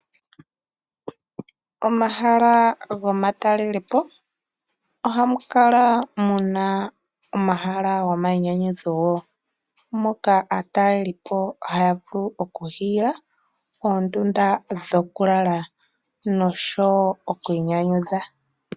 Omahala gomatalelepo, ohamu kala muna omahala gomainyanyudho. Moka aatalelipo haya vulu okuhiila oondunda dhokulala noshowo oku inyanyudha